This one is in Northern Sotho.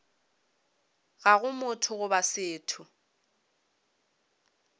ga go motho goba setho